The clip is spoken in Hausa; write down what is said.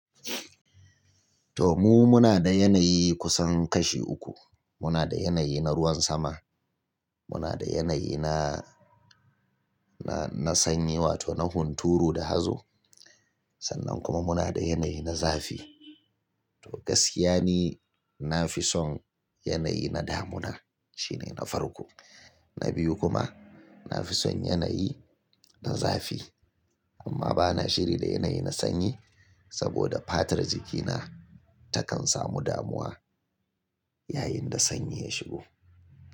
To mu muna da yanayi kusan kashi uku. Muna da yanayi na ruwan sama, muna da yanayi na, na, na sanyi wato na hunturu da hazo. Sannan kuma muna da yanayi na zafi. To gaskiya ni na fi son yanayi na damuna shine na farko, na biyu kuma na fi son yanayi na zafi. Amma bana shiri da yanayi na sanyi saboda fatar jikina takan samu damuwa yayin da sanyi ya shigo.